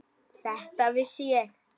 Þetta vissi ég.